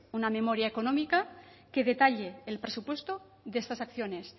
una memoria económica que detalle el presupuesto de estas acciones